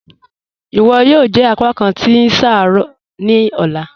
"Iwọ yóò jẹ apàkán tí ṣáárọ̀ ní ọ̀lá."